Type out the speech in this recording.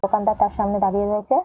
দোকানদার তার সামনে দাঁড়িয়ে রয়েছে।